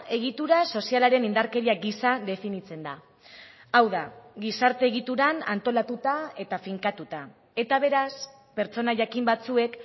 egitura sozialaren indarkeria gisa definitzen da hau da gizarte egituran antolatuta eta finkatuta eta beraz pertsona jakin batzuek